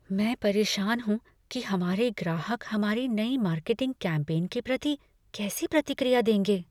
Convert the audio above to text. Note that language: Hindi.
मैं परेशान हूँ कि हमारे ग्राहक हमारी नई मार्केटिंग कैम्पेन के प्रति कैसी प्रतिक्रिया देंगे।